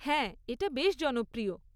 হ্যাঁ, এটা বেশ জনপ্রিয়।